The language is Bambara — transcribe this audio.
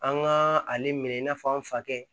An ka ale minɛ i n'a fɔ an fa kɛ